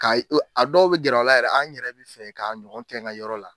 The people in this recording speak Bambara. Ka ye, a dɔw bɛ gɛr'aw la yɛrɛ, n yɛrɛ bɛ fɛ k'a ɲɔgɔn kɛ n ka yɔrɔ la.